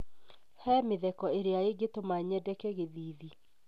He mezeko ĩrĩa ĩngĩtũma nyendeke gĩthiithi.